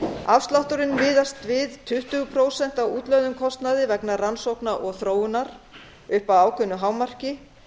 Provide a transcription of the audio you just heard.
afslátturinn miðast við tuttugu prósent af útlögðum kostnaði vegna rannsókna og þróunar upp að ákveðnu hámarki